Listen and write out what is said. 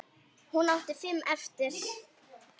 Hún átti fimm eftir.